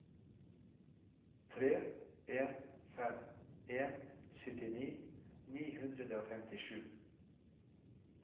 tre en fem en syttini ni hundre og femtisju